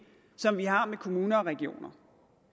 som vi har med kommuner og regioner